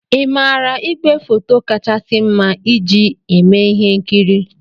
Ị maara ígwèfoto kachasị mma iji eme ihe nkiri?